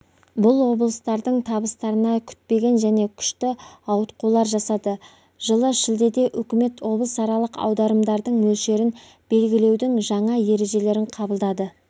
бұл облыстардың табыстарына күтпеген және күшті ауытқулар жасады жылы шілдеде үкіметі облысаралық аударымдардың мөлшерін белгілеудің жаңа ережелерін қабылдады